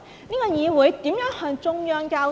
這個議會如何向中央交代？